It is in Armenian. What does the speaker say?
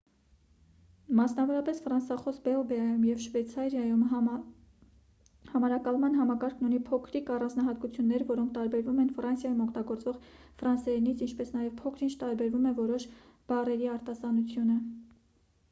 մասնավորապես ֆրանսախոս բելգիայում և շվեյցարիայում համարակալման համակարգն ունի փոքրիկ առանձնահատկություններ որոնք տարբերվում են ֆրանսիայում օգտագործվող ֆրանսերենից ինչպես նաև փոքր-ինչ տարբերվում է որոշ բառերի արտասանությունը